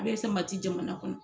A bɛ samati jamana kɔnɔ.